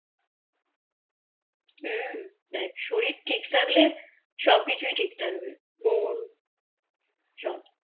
হু দেখ শরীর ঠিক থাকলে সব কিছু ঠিক থাকবে মন সব